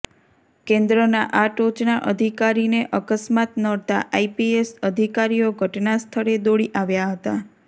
કેન્દ્રના આ ટોચના અધિકારીને અકસ્માત નડતા આઈપીએસ અધિકારીઓ ઘટના સ્થળે દોડી આવ્યાં હતા